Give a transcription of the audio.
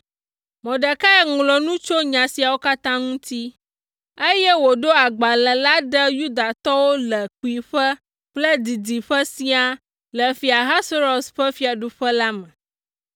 Mordekai ŋlɔ nu tso nya siawo katã ŋuti, eye wòɖo agbalẽ la ɖe Yudatɔwo le kpuiƒe kple didiƒe siaa le Fia Ahasuerus ƒe fiaɖuƒe la me.